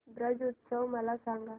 ब्रज उत्सव मला सांग